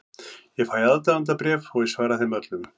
Ég fæ aðdáendabréf og ég svara þeim öllum.